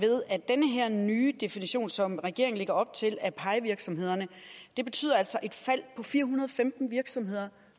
at den her nye definition som regeringen lægger op til af pie virksomhederne vil betyde et fald på fire hundrede og femten virksomheder